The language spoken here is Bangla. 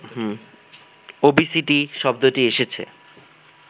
ওবিসিটি শব্দটি এসেছে